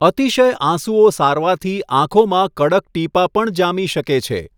અતિશય આંસુઓ સારવાથી આંખોમાં કડક ટીપાં પણ જામી શકે છે.